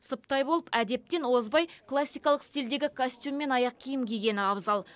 сыптай болып әдептен озбай классикалық стильдегі костюм мен аяқ киім кигені абзал